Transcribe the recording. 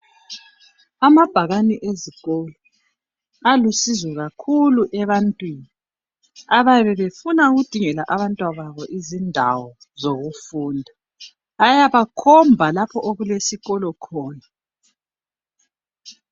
Amabhakane ezikolo alusizo kakhulu ebantwini abayabe befuna ukudingela abantwababo izindawo zokufunda ayabakhomba lapho okulesikolo khona.